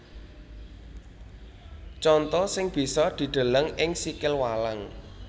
Conto sing bisa dideleng ing sikil walang